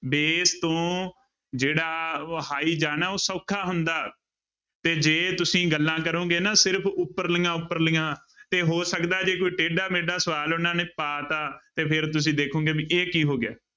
Base ਤੋਂ ਜਿਹੜਾ high ਜਾਣਾ ਉਹ ਸੌਖਾ ਹੁੰਦਾ, ਤੇ ਜੇ ਤੁਸੀਂ ਗੱਲਾਂ ਕਰੋਂਗੇ ਨਾ ਸਿਰਫ਼ ਉਪਰਲੀਆਂ ਉਪਰਲੀਆਂ ਤੇ ਹੋ ਸਕਦਾ ਜੇ ਕੋਈ ਟੇਢਾ ਮੇਢਾ ਸਵਾਲ ਉਹਨਾਂ ਨੇ ਪਾ ਦਿੱਤਾ ਤੇ ਫਿਰ ਤੁਸੀਂ ਦੇਖੋਂਗੇ ਵੀ ਇਹ ਕੀ ਹੋ ਗਿਆ।